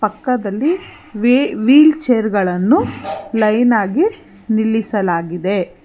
ಪಕ್ಕದಲ್ಲಿ ವೀ wheelchair ಗಳನ್ನು ಲೈನ್ ಆಗಿ ನಿಲ್ಲಿಸಲಾಗಿದೆ.